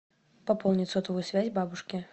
пополнить сотовую связь бабушке